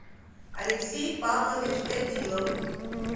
алексей павлович гатилов